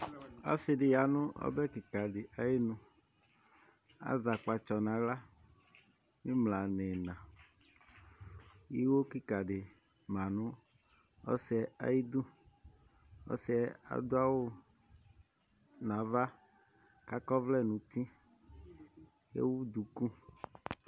Ɔsidi yanʋ ɔbɛ kika di ayinuAzɛ akpatsɔ naɣla, imla niinaIwo kika di manʋ ɔsiɛ ayiduƆsiɛ adʋ awu nava, kakɔ ɔvlɛ nutiEwu duku